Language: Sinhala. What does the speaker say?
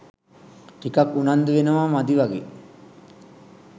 ටිකක් උනන්දු වෙනවා මදි වගේ.